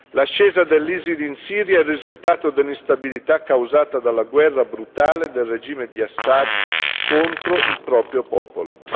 L'ascesa dell'ISIL in Siria è il risultato dell'instabilità causata dalla guerra brutale del regime di Assad contro il proprio popolo.